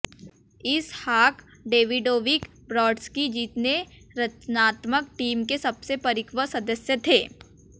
इसहाक Davidovich Brodsky जीतने रचनात्मक team के सबसे परिपक्व सदस्य थे